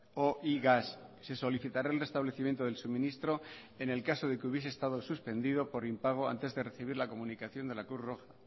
o y gas se solicitará el restablecimiento del suministro en el caso de que hubiese estado suspendido por impago antes de recibir la comunicación de la cruz roja